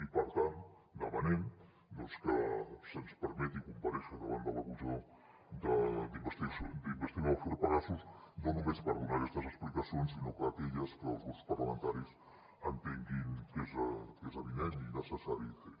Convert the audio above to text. i per tant demanem doncs que se’ns permeti comparèixer davant de la comissió d’investigació de l’afer pegasus no només per donar aquestes explicacions sinó aquelles que els grups parlamentaris entenguin que és avinent i necessari fer